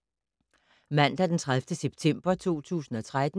Mandag d. 30. september 2013